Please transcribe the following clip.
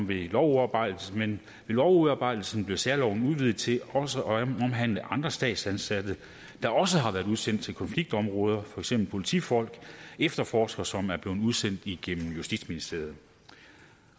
ved lovudarbejdelsen lovudarbejdelsen blev særloven udvidet til også at omhandle andre statsansatte der også har været udsendt til konfliktområder for eksempel politifolk efterforskere som er blevet udsendt igennem justitsministeriet